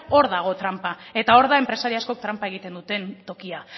hor dago tranpa eta hor da enpresari askok tranpa egiten dute tokia